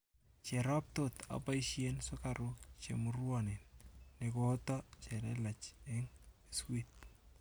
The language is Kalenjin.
Cherop tot aboisien sugaruk chemuruonen negooto chelelach eng' biskut